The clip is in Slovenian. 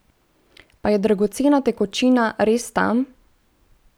Pa je dragocena tekočina res tam?